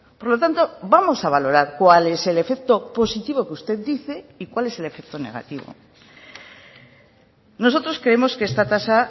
por lo tanto vamos a valorar cual es el efecto positivo que usted dice y cuál es el efecto negativo nosotros creemos que esta tasa